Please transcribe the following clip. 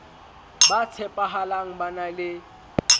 ba tshepahalang ba na le